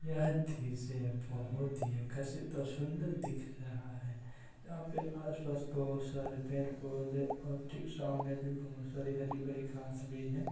वह दृश्य बहुत ही आकर्षित और सुंदर दिख रहा है यहाँ पर आस-पास बहुत सारे पेड़-पौधे और ठीक सामने भी बहुत सारी हरी-भरी घास भी है।